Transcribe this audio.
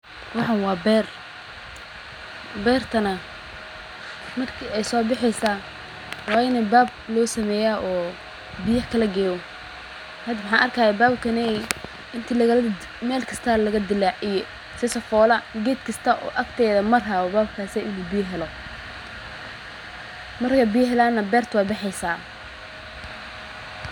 Waxan waa beer, beertana marki ay soo bexeyso way ini bad loo sameeya oo biyaha kala geyo, had maxan arki haya babkeney inti Mel kista laga dilaaciye si sifola ged kista oo agtedaa marayo uu biya u helo, markay biya helan na berta way bexeysa